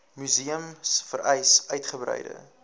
museums vereis uitgebreide